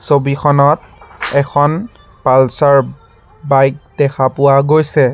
ছবিখনত এখন পালছৰ বাইক দেখা পোৱা গৈছে।